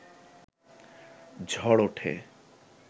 ঝড় ওঠে